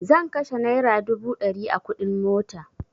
Zan kashe naira dubu ɗari a kuɗin mota